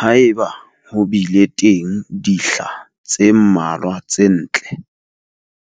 Haeba ho bile teng dihla tse mmalwa tse ntle,